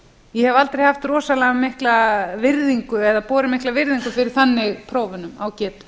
ég hef aldrei haft rosanlega mikla virðingu eða borið mikla virðingu fyrir þannig prófunum á getu